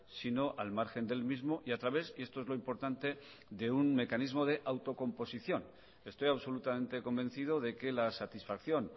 sino al margen del mismo y a través y esto es lo importante de un mecanismo de autocomposición estoy absolutamente convencido de que la satisfacción